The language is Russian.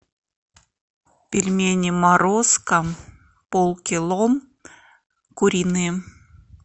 пельмени морозко полкило куриные